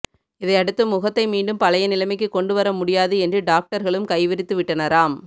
இதையடுத்து முகத்தை மீண்டும் பழைய நிலைமைக்கு கொண்டுவர முடியாது என்று டாக்டர்களும் கை விரித்துவிட்டனராம்